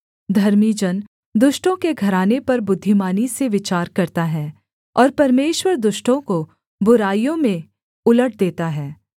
धर्मी जन दुष्टों के घराने पर बुद्धिमानी से विचार करता है और परमेश्वर दुष्टों को बुराइयों में उलट देता है